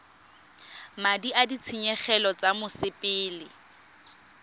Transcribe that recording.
madi a ditshenyegelo tsa mosepele